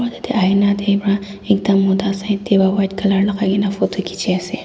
jatte aina dekhi para ekta Mota side te white colour lagai kina photo khiche ase.